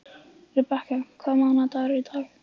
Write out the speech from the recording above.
Rebekka, hvaða mánaðardagur er í dag?